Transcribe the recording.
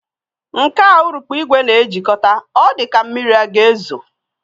Nke a urukpu ìgwè na-ejikọta, ọ dịka ka mmiri ọ ga-ezo